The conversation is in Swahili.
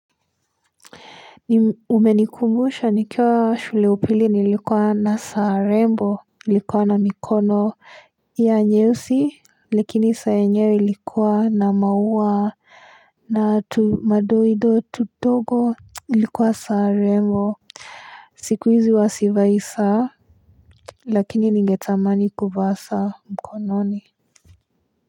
Umenikumbusha nikiwa shule ya upili nilikuwa na saa rembo ilikuwa na mikono ya nyeusi. Lakini saa yenyewe ilikuwa na maua na tumadoido tudogo. Ilikuwa saa rembo, siku hizi huwa sivai saa. Lakini ningetamani kuvaa saa mkononi.